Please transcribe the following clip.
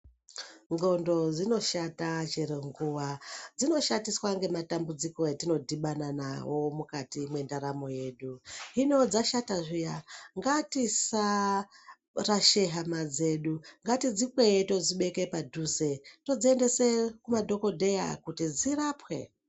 Ndxondo dzinoshata chero nguwa , dzinoshatiswa ngematambudziko etinodhibana nawo mukati mwendaramo yedu hino dzashata zviya ngatisarasha hama dzedu ngatidzikweye todzibeke padhuze todziendese kumadhokodheya kuti dzirapwe.